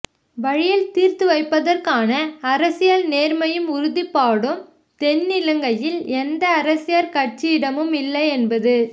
வழியில் தீர்த்துவைப்பதற்கான அரசியல் நேர்மையும் உறுதிப்பாடும் தென்னிலங்கையில் எந்த அரசியற் கட்சியிடமுமில்லையென்பது